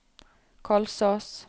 Kolsås